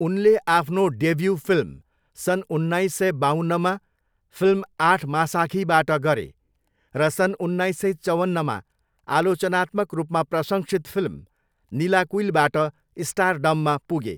उनले आफ्नो debut film सन् उन्नाइस सय बाउन्नमा फिल्म 'आठमासाखी'बाट गरे र सन् उन्नाइस सय चौवन्नमा आलोचनात्मक रूपमा प्रशंसित फिल्म 'निलाकुइल'बाट स्टारडममा पुगे।